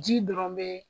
Ji dɔrɔn be